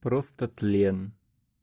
просто тлен